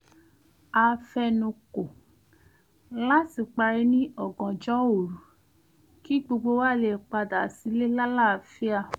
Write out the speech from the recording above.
a fe̩nukò láti parí ní ọ̀gànjọ́ òru kí gbogbo wa lè padà sílé lálàáfíà